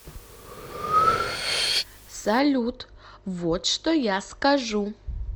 салют вот что я скажу